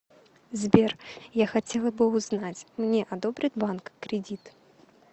сбер я хотела бы узнать мне одобрит банк кредит